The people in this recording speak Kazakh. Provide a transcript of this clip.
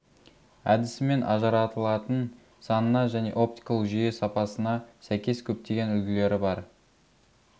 әдісімен ажыратылатын санына және оптикалық жүйе сапасына сәйкес көптеген үлгілері бар